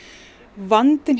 vandinn